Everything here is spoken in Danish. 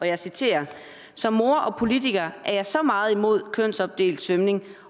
jeg citerer som mor og politiker er jeg så meget imod kønsopdelt svømning